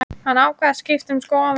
Hann ákvað að skipta um skoðun.